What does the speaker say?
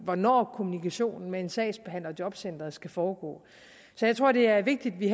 hvornår kommunikationen med en sagsbehandler i jobcenteret skal foregå jeg tror det er vigtigt at vi